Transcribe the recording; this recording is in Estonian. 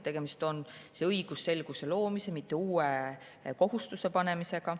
Tegemist on õigusselguse loomise, mitte uue kohustuse panemisega.